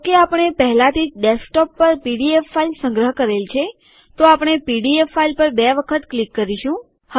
જોકે આપણે પહેલાથી જ ડેસ્કટોપ પર પીડીએફ ફાઈલ સંગ્રહ કરેલ છે તો આપણે પીડીએફ ફાઈલ પર બે વખત ક્લિક કરીશું